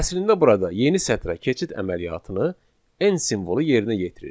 Əslində burada yeni sətrə keçid əməliyyatını n simvolu yerinə yetirir.